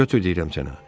Götür deyirəm sənə.